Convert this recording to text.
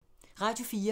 Radio 4